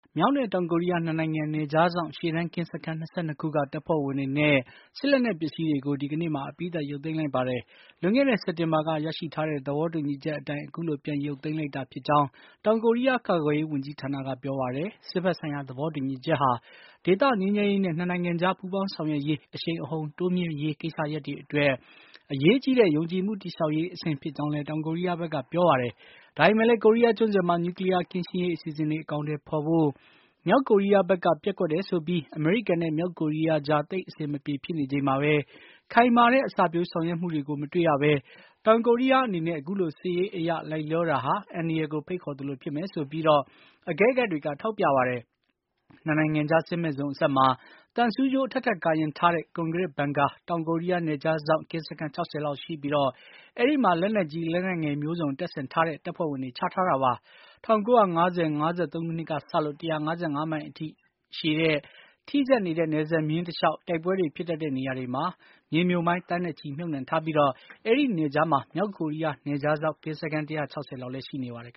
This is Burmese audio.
မြောက်နဲ့ တောင်ကိုရီးယား ၂ နိုင်ငံ နယ်ခြားစောင့် ရှေ့တန်း ကင်းစခန်း ၂၂ ခုက တပ်ဖွဲ့ဝင်တွေနဲ့ စစ်လက်နက်ပစ္စည်းတွေကို ဒီကနေ့မှာ အပြီးသတ် ရုပ်သိမ်းလိုက်ပါတယ်။ လွန်ခဲ့တဲ့ စက်တင်ဘာက ရရှိထားတဲ့ သဘောတူညီချက်အတိုင်း အခုလို ပြန်ရုပ်သိမ်းလိုက်တာ ဖြစ်ကြောင်း တောင်ကိုရီးယား ကာကွယ်ရေးဝန်ကြီးဌာနက ပြောပါတယ်။ စစ်ဘက်ဆိုင်ရာ သဘောတူညီချက်ဟာ ဒေသငြိမ်းချမ်းရေးနဲ့ ၂ နိုင်ငံကြား ပူးပေါင်းဆောင်ရွက်ရေး အရှိန်အဟန်တိုးမြှင့်ဖို့ကိစ္စရပ်တွေအတွက် အရေးကြီးတဲ့ယုံကြည်မှုတည်ဆောက်ရေး အဆင့်ဖြစ် ကြောင်းလည်း တောင်ကိုရီးယားဘက်က ပြောပါတယ်။ ဒါပေမယ့်လည်း ကိုရီးယားကျွန်းဆွယ်မှာ နျူကလီးယားကင်းရှင်းရေး အစီအစဉ်တွေ အကောင် အထည်ဖေါ်ဖို့ မြောက်ကိုရီးယားဘက်က ပျက်ကွက်တယ်ဆိုပြီး အမေရိကန်နဲ့ မြောက်ကိုရီးယားကြား သိတ်အဆင်မပြေဖြစ်နေချိန်မှာပဲ ခိုင်မာတဲ့ အစပျိုးဆောင်ရွက်မှုတွေ မတွေ့ရဘဲ တောင်ကိုရီးယား အနေနဲ့ အခုလိုစစ်ရေးအရလိုက်လျောတာဟာ အန္တရာယ်ကို ဖိတ်ခေါ်သလိုဖြစ်မယ်ဆိုပြီး အကဲခတ်တွေက ထောက်ပြပါတယ်။ ၂ နိုင်ငံခြား စစ်မဲ့ဇုံအစပ်မှာ သံဆူးကြိုး အထပ်ထပ် ကာရံထားတဲ့ ကွန်ဂရစ်ဘန်ကာ တောင်ကိုရီးယား နယ်ခြားစောင့် ကင်းစခန်း ၆၀ လောက်ရှိပြီး အဲဒီမှာ လက်နက်ကြီး၊ လက်နက်ငယ်မျိုးစုံ တပ်ဆင်ထား တဲ့ တပ်ဖွဲ့ဝင်တွေ ချထားတာပါ။ ၁၉၅၀-၅၃ ခုနှစ်ကစလို့ ၁၅၅ မိုင်အရှည်ရှိတဲ့ ထိစပ်နေတဲ့ နယ်စပ် မျဉ်းတလျှောက် တိုက်ပွဲတွေ ဖြစ်တတ်တဲ့နေရာတွေမှာ မြေမြှုပ်မိုင်း သန်းနဲ့ချီမြှုပ်နှံထားပြီး အဲဒီ နယ်ခြားမှာ မြောက်ကိုရီးယား နယ်ခြားစောင့် ကင်းစခန်း ၁၆၀ လောက်လည်း ရှိနေပါတယ်